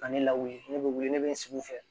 Ka ne lawuli ne bɛ wili ne bɛ n sigi u fɛ